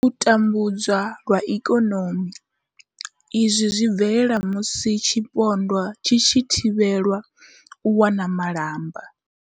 U tambudzwa lwa ikonomi izwi zwi bvelela musi tshipondwa tshi tshi thivhelwa u wana malamba.